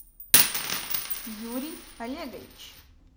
юрий олегович